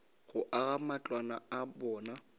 go aga matlwana a bona